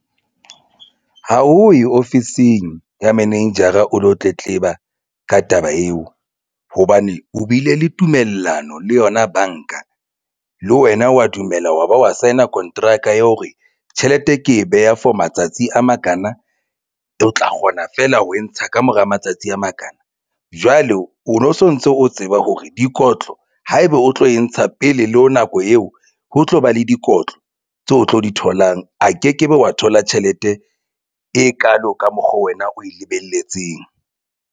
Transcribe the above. Ha o ye ofising ya manejara o lo tletleba ka taba eo hobane o bile le tumellano le yona banka le wena wa dumela wa ba wa sign-a kontraka ya hore tjhelete ke e beha for matsatsi a makana o tla kgona feela ho e ntsha kamora matsatsi a makana. Jwale o no sontso o tseba hore dikotlo haeba o tlo e ntsha pele le ho nako eo ho tlo ba le dikotlo tse o tlo di tholang. A ke ke be wa thola tjhelete e kalo ka mokgo wena o e lebelletseng.